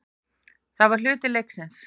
Það var hluti leiksins.